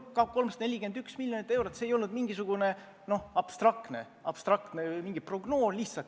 See 341 miljonit eurot ei olnud mingisugune abstraktne summa, lihtsalt mingi prognoos.